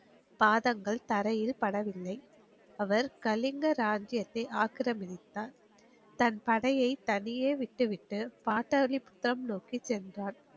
பாதங்கள் தரையில் படவில்லை. அவர் கலிங்க ராஜ்ஜியத்தை ஆக்கிரமித்தார். தன் படையை தனியே விட்டுவிட்டு பார்த்தாளிபுரம் நோக்கி சென்றார்.